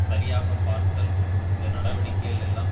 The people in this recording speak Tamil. சரியாகப் பார்த்தல் இந்த நடவடிக்கைகள் எல்லாம்